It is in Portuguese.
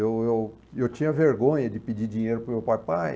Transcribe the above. Eu eu tinha vergonha de pedir dinheiro para o meu pai. Pai